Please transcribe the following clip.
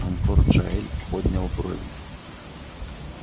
анкор джаэль поднял брови